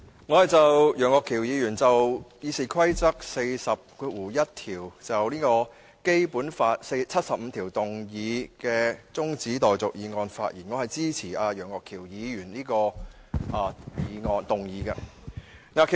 我就楊岳橋議員根據《議事規則》第401條，就根據《基本法》第七十五條動議的擬議決議案的辯論提出的中止待續議案發言。